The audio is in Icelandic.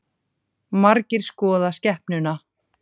Margir skoða skepnuna